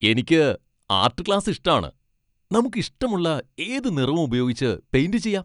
എനിക്ക് art class ഇഷ്ട്ടാണ്. നമുക്ക് ഇഷ്ടമുള്ള ഏത് നിറവും ഉപയോഗിച്ച് പെയിന്റ് ചെയ്യാം .